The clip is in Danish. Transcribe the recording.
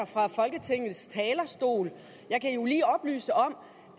fra folketingets talerstol jeg kan jo lige oplyse om